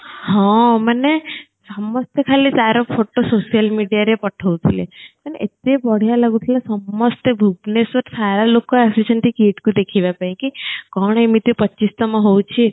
ହଁ ମାନେ ସମସ୍ତେ ଖାଲି ତାର photo social media ରେ ପଠୋଉ ଥିଲେ ମାନେ ଏତେ ବଢ଼ିଆ ଲାଗୁଥିଲା ସମସ୍ତେ ଭୁବନେଶ୍ବର ସାରା ଲୋକ ଆସୁଛନ୍ତି KIIT କୁ ଦେଖିବା ପାଇଁ କି କଣ ଏମିତି ପଚିଶତମ ହୋଉଚି